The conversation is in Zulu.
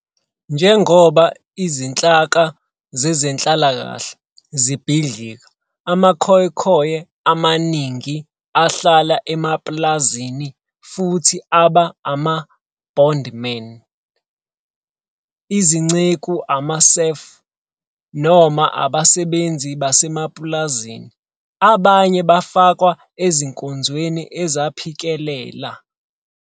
Njengoba izinhlaka zezenhlalakahle zibhidlika, amaKhoekhoe amaningi ahlala emapulazini futhi aba ama-bondmen, izinceku, ama-serf, noma abasebenzi basemapulazini, abanye bafakwa ezinkonzweni ezaphikelela.